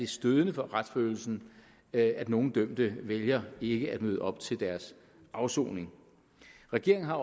stødende for retsfølelsen at nogle dømte vælger ikke at møde op til deres afsoning regeringen har